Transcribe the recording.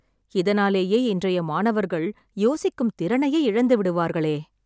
இதனாலேயே இன்றைய மாணவர்கள் யோசிக்கும் திறனையே இழந்துவிடுவார்களே